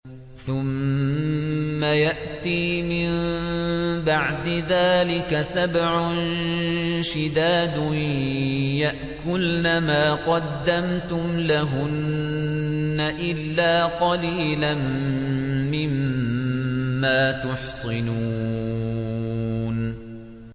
ثُمَّ يَأْتِي مِن بَعْدِ ذَٰلِكَ سَبْعٌ شِدَادٌ يَأْكُلْنَ مَا قَدَّمْتُمْ لَهُنَّ إِلَّا قَلِيلًا مِّمَّا تُحْصِنُونَ